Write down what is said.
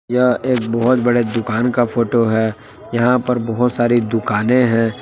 यह एक बहुत बड़े दुकान का फोटो है यहां पर बहुत सारी दुकानें हैं।